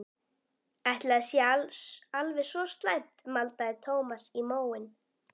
Ætli það sé alveg svo slæmt maldaði Thomas í móinn.